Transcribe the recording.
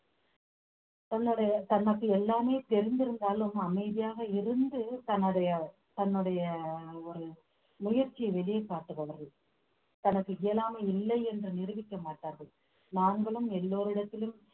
தன்னுடைய தனக்கு எல்லாமே தெரிந்திருந்தாலும் அமைதியாக இருந்து தன்னுடைய தன்னுடைய ஒரு முயற்சியை வெளியே காட்டுபவர்கள் தனக்கு இயலாமை இல்லை என்று நிரூபிக்க மாட்டார்கள் நாங்களும் எல்லோரிடத்திலும்